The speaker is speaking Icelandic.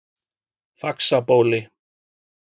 Faxabóli